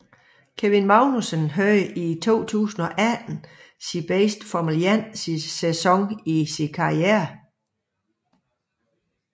Kevin Magnussen havde i 2018 sin bedste Formel 1 sæson i sin karriere